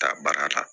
Taa baara la